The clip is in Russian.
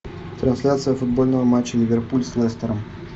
трансляция футбольного матча ливерпуль с лестером